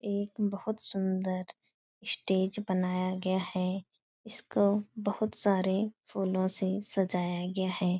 एक बहुत सुन्दर स्टेज बनाया गया है। इसको बहुत सारे फूलो से सजाया गया है।